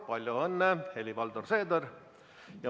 Palju õnne, Helir-Valdor Seeder!